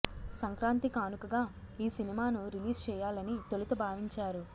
సంక్రాంతి కానుకగా ఈ సినిమాను రిలీజ్ చేయాలని తొలుత భావించారు